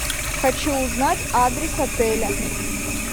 хочу узнать адрес отеля